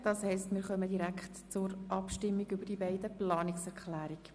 Damit kommen wir zur Abstimmung über die beiden Planungserklärungen.